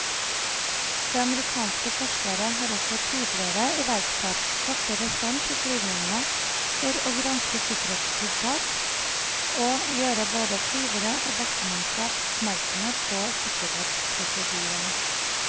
Det amerikanske forsvaret har også tidligere iverksatt kortere stans i flyvningene for å granske sikkerhetstiltak og gjøre både flyvere og bakkemannskap oppmerksomme på sikkerhetsprosedyrene.